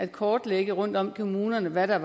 kortlægge rundtom i kommunerne hvad der